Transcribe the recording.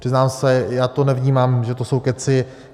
Přiznám se, já to nevnímám, že to jsou kecy.